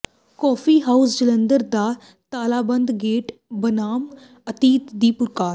coffee house Jalandhar ਦਾ ਤਾਲਾਬੰਦ gate ਬਨਾਮ ਅਤੀਤ ਦੀ ਪੁਕਾਰ